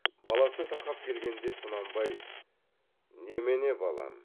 баласы тақап келгенде құнанбай немене балам